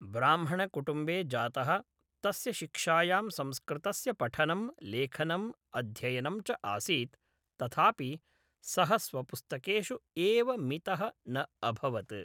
ब्राह्मणकुटुम्बे जातः, तस्य शिक्षायां संस्कृतस्य पठनं, लेखनं, अध्ययनं च आसीत्, तथापि सः स्वपुस्तकेषु एव मितः न अभवत्।